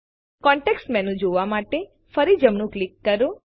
context menu જોવા માટે ફરી જમણું ક્લિક કરો